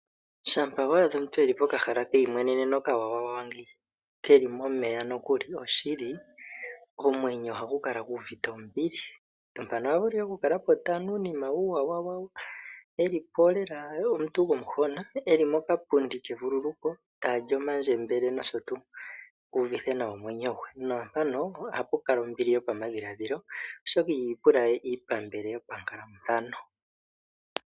Shampa wa adha omuntu e li pokahala keyimweneneno okawawawa ngeyi ke li momeya nokuli, oshili omwenyo ohagu kala gu uvite ombili. Mpano ohaya vulu okukala po taya nu uunima wawo e li po lela omuntu gomuhona e li mokapundi kevululuko ta li omandjembele nosho tuu. Uuvithe nawa omwenyo gwe. Naampano ohapu kala ombili yopamadhiladhilo, oshoka iha ipula we iipambele yopankalathano.